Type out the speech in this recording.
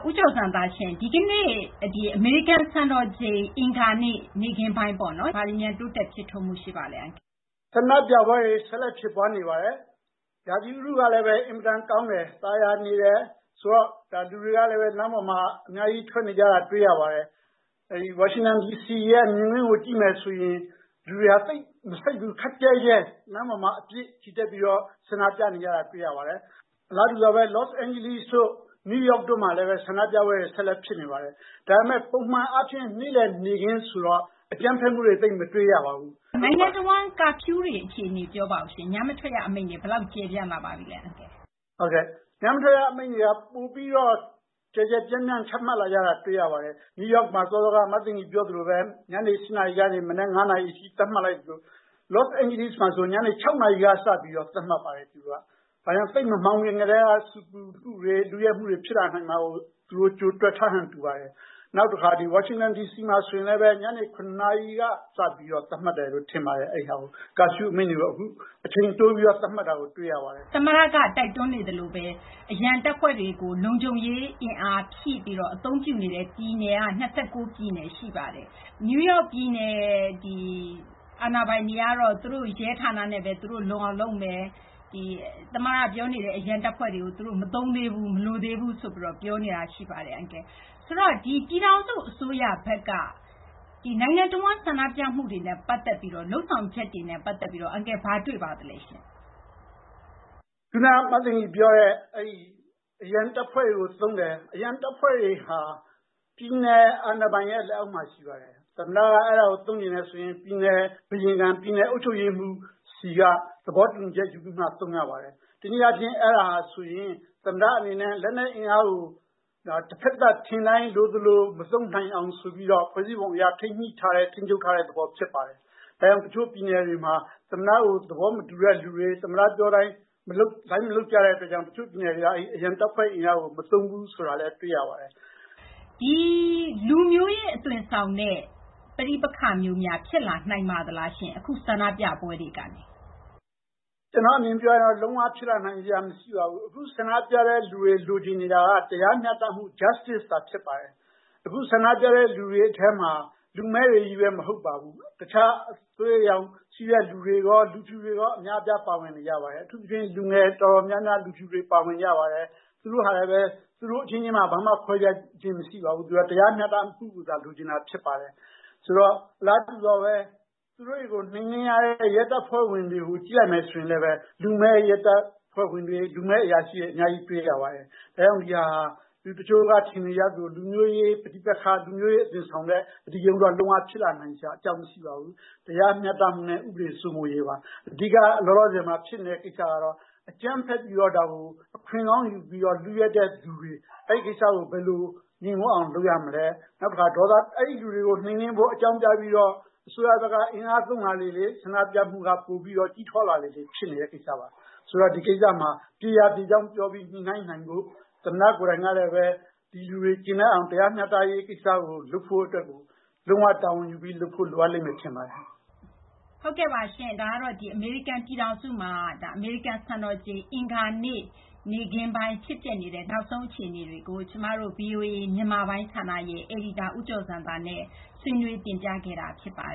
ဦးကျော်ဇံသာရှင့် ဒီကနေ့ အင်္ဂါနေ့ နေ့ခင်းပိုင်း ဘာတွေများ တိုးတက် ဖြစ်ထွန်းမှု ရှိပါလဲ။ ဦးကျော်ဇံသာ ။ ။ ဆန္ဒပြပွဲတွေ ဆက်လက် ဖြစ်ပွားနေပါတယ်။ ရာသီဥတုကလည်း အင်မတန် ကောင်းတယ်။ သာယာနေတယ် ဆိုတော့ လူတွေကလည်း လမ်းပေါ်မှာ အများကြီး ထွက်နေတာ တွေ့ရပါတယ်။ ဝါရှင်တန် ဒီစီ မြင်ကွင်းကို ကြည့်မယ်ဆိုရင် လူတွေက သိပ် မစိပ်ဘူး ခပ်ကျဲကျဲ လမ်းပေါ်မှာ အပြည့် ချီတက်ပြီးတော့ ဆန္ဒပြနေတာကို တွေ့ရပါတယ်။ အလားတူပါဘဲ လောစ့်အိန်းဂျလိစ့်တို့ နယူးယောက်တို့မှာလည်း ဆန္ဒပြပွဲတွေ ဆက်လက် ဖြစ်နေပါတယ်။ ဒါပေမယ့် ပုံမှန် အားဖြင့် နေ့လည် နေ့ခင်းဆိုတော့ အကြမ်းဖက်မှုတွေ သိပ်မတွေ့ရပါဘူး။ သိင်္ဂ ီထိုက်။ ။ နိုင်ငံတဝန်း Curfew တွေ အခြေအနေ ပြောပါအုံးရှင့်။ ညမထွက်ရ အမိန့်တွေ ဘယ်လောက် ကျယ်ပြန့်လာပါပြီလဲ။ ဦးကျော်ဇံသာ ။ ။ ဟုတ်ကဲ့ ညမထွက်ရ အမိန့်တွေ ပိုပြီး ကျယ်ကျုယ်ပြန့်ပြန့် ချမှတ်လာကြတာ တွေ့ရပါတယ်။ နယူးယောက်မှာ ညနေ ၈ နာရီကနေ မနက် ၅ နာရီ အထိ သတ်မှတ်လိုက်သလို လော့စ်အိန်ဂျလိစ်မှာ ဆိုရင် ညနေ ၆ နာရီကစလို့ သတ်မှတ်ပါတယ်။ ဒါကြောင့် သိပ်မမှောင်ခင် ကတည်းက ဆူပူမှုတွေ လုယက်မှုတွေ ဖြစ်လာနိုင်တာကို သူတို့ ကြိုတွက်ထားဟန် တူပါတယ်။ နောက်တခါ ဒီ ဝါရှင်တန် ဒီစီမှာ ဆိုရင်လည်း ညနေ ၇ နာရီက စပြီး သတ်မှတ်တယ် ထင်ပါတယ်။ Curfew အမိန့်တွေ အခု အချိန်တိုးပြီး သတ်မှတ်တာ တွေ့ရပါတယ်။ သိင်္ဂ ီထိုက်။ ။ သမ္မတက တိုက်တွန်းနေသလိုဘဲ အရန်တပ်ဖွဲ့တွေကို လုံခြုံရေး အင်အားဖြည့်ပြီး အသုံးပြုနေတဲ့ ပြည်နယ်က ၂၉ ပြည်နယ် ရှိပါတယ်။ နယူးယောက် ပြည်နယ် အာဏာပိုင်တွေကတော့ သူတို့ ရဲဌာနနဲ့ဘဲ သူတို့ လုံအောင် လုပ်မယ်။ သမ္မတ ပြောနေတဲ့ အရန်တပ်ဖွဲ့တွေ မသုံးသေးဘူး မလိုသေးဘူးလို့ ပြောနေတာ ရှိပါတယ်။ ဆိုတော့ ပြည်ထောင်စု အစိုးရဘက်က နိုင်ငံတဝန်း ဆန္ဒပြမှုတွေနဲ့ ပတ်သက်ပြီး လုပ်ဆောင်ချက် အန်ကယ် ဘာတွေ့ပါသလဲ။ ဦးကျော်ဇံသာ ။ ။ ခုန ပြောတဲ့ အရန်တပ်ဖွဲ့တွေကို သုံးတယ်။ အရန်တပ်ဖွဲ့တွေဟာ ပြည်နယ် အာဏာပိုင်ရဲ့ လက်အောက်မှာ ရှိပါတယ်။ သမ္မတက အဲဒါကို သုံးချင်တယ်ဆိုရင် ပြည်နယ် အုပ်ချုပ်ရေးမှူးဆီက သဘောတူညီချက် ယူပြီးမှ သုံးရပါတယ်။ တနည်းအားဖြင့် အဲဒါဟာဆိုရင် သမ္မတ အနေနဲ့ လက်နက် အင်အားကို တဖက်သတ် ထင်တိုင်း လိုသလို မသုံးနိုင်အောင် ဆိုပြီးတော့ ဖွဲ့စည်းပုံ အရ ထိန်းညှိထားတဲ့ လုပ်ထားတဲ့ သဘော ဖြစ်ပါတယ်။ ဒါကြောင့် တချို့ ပြည်နယ်တွေမှာ သမ္မတကို သဘောမတူတဲ့လူတွေ ၊ သမ္မတ ပြောတိုင်း လိုက်မလုပ်ကြတဲ့ အတွက်ကြောင့် တချို့ ပြည်နယ်တွေက အရန်တပ်ဖွဲ့ အင်အားကို မသုံးဘူး ဆိုတာလည်း တွေ့ရပါတယ်။ သိင်္ဂ ီထိုက်။ ။ လူမျိုးရေး အသွင်ဆောင်တဲ့ ပဋိပက္ခမျိုးများ ဖြစ်လာနိုင်ပါသလားရှင့်။ အခု ဆန္ဒပြပွဲတွေကနေ။ ဦးကျော်ဇံသာ ။ ။ ကျနော့် အမြင်ပြောရရင် လုံး၀ ဖြစ်လာနိုင်စရာ မရှိပါဘူး။ အခု ဆန္ဒပြတဲ့ လူတွေ လိုချင်နေတာက တရားမျှတမှု သာဖြစ်ပါတယ်။ အခု ဆန္ဒပြတဲ့ လူတွေထဲမှာ လူမည်းတွေချည်းဘဲ မဟုတ်ပါဘူး။ တခြား အသွေးအရောင် ရှိတဲ့သူတွေရော လူဖြူတွေရော အများအပြား ပါဝင်နေကြပါတယ်။ အထူးသဖြင့် လူငယ် တော်တော်များများ လူဖြူတွေ ပါဝင် ကြပါတယ်။ သူတို့ဟာ လည်းဘဲ သူတို့ အချင်းချင်း ကြားမှာ ဘာမှ ခွဲခြားခြင်း မရှိပါဘူး။ ဆိုတော့ တရားမျှတမှုကိုသာ လိုချင်တာ ဖြစ်ပါတယ်။ ဆိုတော့ အလားတူစွာဘဲ သူတို့တွေကို နှိမ်နင်းရတဲ့ ရဲတပ်ဖွဲ့ဝင်တွေကို ကြည့်လိုက်မယ် ဆိုရင်လည်းဘဲ လူမည်း ရဲတပ်ဖွဲ့ဝင်တွေ လူမည်း အရာရှိတွေ အများကြီး တွေ့ရပါတယ်။ ဒါကြောင့် ဒီဟာဟာ လူတချို့က ထင်နေကြသလို လူမျိုးရေး ပဋိပက္ခ လူမျိုးရေး အသွင်ဆောင်တဲ့ အဓိကရုဏ်းတော့ လုံး၀ ဖြစ်လာနိုင်စရာ အကြောင်း မရှိပါဘူး။ တရားမျှတမှုနဲ့ ဥပဒေ စိုးမိုးရေးပါ။ အဓိက လောလောဆယ်မှာ ဖြစ်နေတဲ့ ကိစ္စကတော့ အကြမ်းဖက်ပြီးတော့ ဒါကို အခွင့်ကောင်းယူပြီးတော့ လုယက်တဲ့ လူတွေ။ အဲဒီ ကိစ္စကို ဘယ်လို ငြိမ်ဝပ်အောင် လုပ်၇မလဲ ၊ နောက်တခါ အဲဒီ လူတွေကို နှိမ်နင်းဖို့ အကြောင်းပြပြီးတော့ အစိုးရဘက်က အင်အား သုံးလာလေလေ ဆန္ဒပြမှုက ပိုပြီး ကြီးထွားလာလေလေ ဖြစ်နေတဲ့ ကိစ္စပါ။ ဆိုတော့ ဒီကိစ္စမှာ ပြေရာ ပြေကြောင်း ပြောပြီး ညှိနှိုင်းနိုင်ဖို့၊ သမ္မတ ကိုယ်တိုင်ကလည်းဘဲ ဒီလူတွေ ကျေနပ်အောင် တရားမျှတရေး ကိစ္စကို လုပ်ဖို့ အတွက်ကို လုံး၀ တာဝန်ယူပြီး လုပ်ဖို့ လိုအပ်လိမ့်မယ် ထင်ပါတယ်။ သိင်္ဂ ီထိုက်။ ဟုတ်ကဲ့ပါရှင်။ ဒါကတော့ အမေရိကန် ပြည်ထောင်စုမှာ အမေရိကန် စံတော်ချိန် အင်္ဂါနေ့ နေ့ခင်းပိုင်း ဖြစ်ပျက်နေတဲ့ နောက်ဆုံး အခြေအနေတွေကို ဗွီအိုအေ မြန်မာပိုင်း ဌာန အယ်ဒီတာ ဦးကျော်ဇံသာနဲ့ မသိင်္ဂ ီထိုက် ဆွေးနွေး တင်ပြခဲ့တာ ဖြစ်ပါ